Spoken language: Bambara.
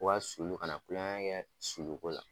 O ka sulu, kana kulonkɛ kɛ suluko la